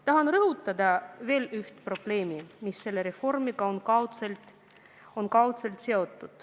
Tahan rõhutada veel üht probleemi, mis selle reformiga on kaudselt seotud.